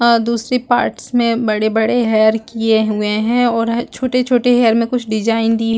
अ दूसरे पार्ट्स में बड़े -बड़े हेयर किये हुए है और छोटे -छोटे हेयर में कुछ डिज़ाइन दी --